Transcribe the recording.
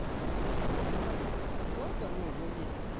у меня абонентская плата ну на месяц